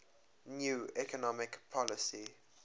new economic policy